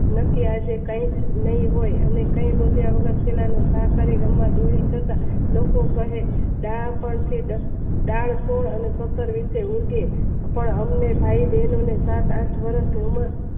ને આજે કંઈજ ન હોય કઈ ગોત્યા વગર ખૂણામાં ઘા કરી રમવા બેસી જતા લોકો કહે બાળ તો પણ અમને થઈ સાત આઠ વર્ષ માં